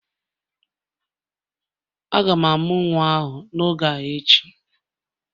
A ga-amụ nwa ahụ n'oge a echi